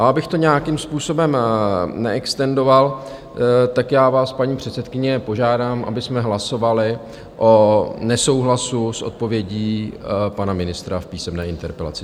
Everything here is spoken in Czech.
A abych to nějakým způsobem neextendoval, tak já vás, paní předsedkyně, požádám, abychom hlasovali o nesouhlasu s odpovědí pana ministra v písemné interpelaci.